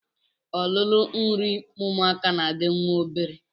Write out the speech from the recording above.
Ololo nri ụmụaka na-adị nwa obere